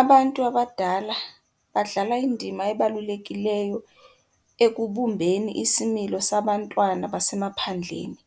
Abantu abadala badlala indima ebalulekileyo ekubumbeni isimilo sabantwana basemaphandleni,